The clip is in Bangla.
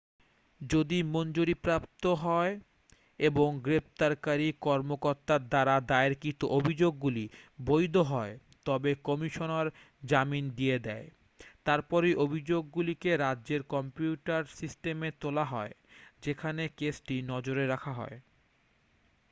যদি মঞ্জুরিপ্রাপ্ত হয় এবং গ্রেপ্তারকারী কর্মকর্তার দ্বারা দায়েরকৃত অভিযোগগুলি বৈধ হয় তবে কমিশনার জামিন দিয়ে দেয় তারপরে অভিযোগগুলিকে রাজ্যের কম্পিউটার সিস্টেমে তোলা হয় যেখানে কেসটি নজরে রাখা হয়